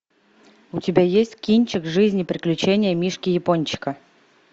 у тебя есть кинчик жизнь и приключения мишки япончика